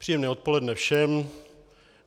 Příjemné odpoledne všem.